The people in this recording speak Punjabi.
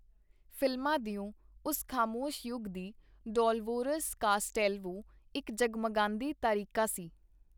ਫ਼ਿਲਮਾਂ ਦਿਓ ਉਸ ਖਾਮੋਸ਼ ਯੁੱਗ ਦੀ ਡੋਲਵੋਰਸ ਕਾਸਟੈਲਵੋ ਇਕ ਜਗ-ਮਗਾਂਦੀ ਤਾਰਿਕਾ ਸੀ.